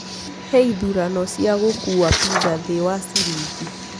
heĩthũrano cĩa gũkũwa pizza thĩĩ wa shillingi